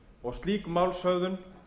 og slík málshöfðun